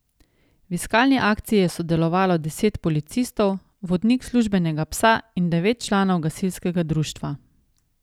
V iskalni akciji je sodelovalo deset policistov, vodnik službenega psa in devet članov gasilskega društva.